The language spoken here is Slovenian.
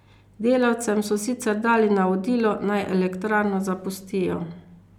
Delavcem so sicer dali navodilo, naj elektrarno zapustijo.